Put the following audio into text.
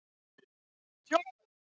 Þetta var orð sem mamma notaði oft og